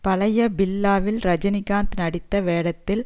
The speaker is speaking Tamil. பழைய பில்லாவில் ரஜினிகாந்த் நடித்த வேடத்தில்